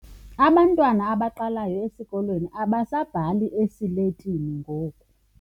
Abantwana abaqalayo esikolweni abasabhali esiletini ngoku.